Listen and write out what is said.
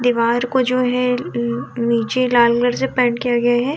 दीवार जो है नी निचे लाल कलर से पेंट किया गया है।